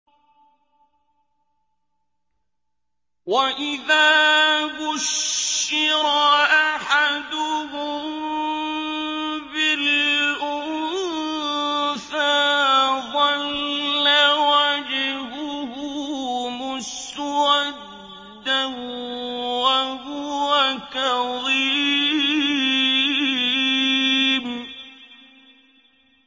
وَإِذَا بُشِّرَ أَحَدُهُم بِالْأُنثَىٰ ظَلَّ وَجْهُهُ مُسْوَدًّا وَهُوَ كَظِيمٌ